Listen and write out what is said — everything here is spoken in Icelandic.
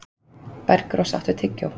Bergrós, áttu tyggjó?